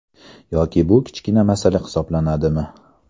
Yoki bu kichkina masala hisoblanadimi?